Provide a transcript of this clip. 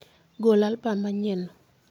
Go albam manyienno.